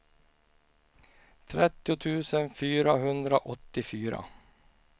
trettio tusen fyrahundraåttiofyra